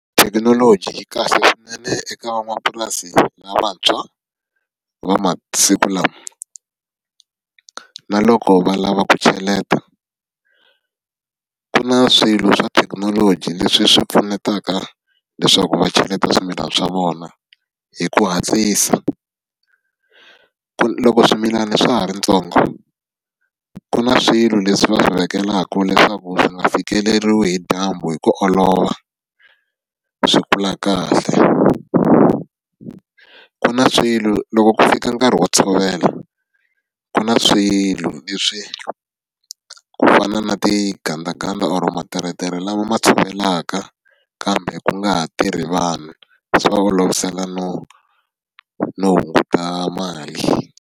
Thekinoloji yi kahle swinene eka van'wamapurasi lavantshwa va masiku lama. Na loko va lava ku cheleta, ku na swilo swa thekinoloji leswi swi pfunetaka leswaku va cheleta swimilana swa vona hi ku hatlisa. Loko swimilana swa ha ri swintsongo, ku na swilo leswi va swi vekelaka leswaku swi nga fikeleriwi hi dyambu hi ku olova, swi kula kahle. Ku na swilo loko ku fika nkarhi wo tshovela, ku na swilo leswi ku fana na tigandaganda or materetere lama ma tshovelaka, kambe ku nga ha tirhi vanhu. Swi va olovisela no no hunguta mali.